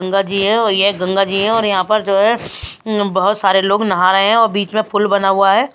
गंगा जी है और यह गंगा जी है और यहाँ पर जो है बहुत सारे लोग नहा रहे हैं और बीच में पुल बना हुआ है।